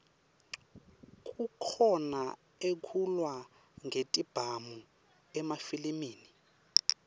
kukhona ekulwa ngetibhamu emafilimi